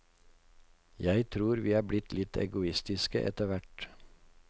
Jeg tror vi er blitt litt egoistiske etter hvert.